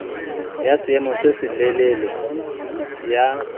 ya seemo se selelele ya